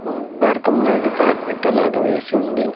ఉమ్ బారకం లాగా కార్పెట్ లాగా వేసి ఉంది.